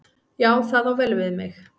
Já, það á vel við mig.